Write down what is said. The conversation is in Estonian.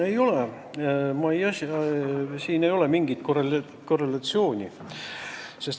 Ei ole ja siin ei ole mingit korrelatsiooni.